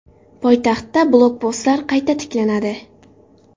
Poytaxtda blokpostlar qayta tiklanadi.